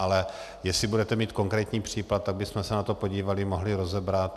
Ale jestli budete mít konkrétní případ, tak bychom se na to podívali, mohli rozebrat.